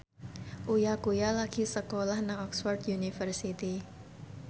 Uya Kuya lagi sekolah nang Oxford university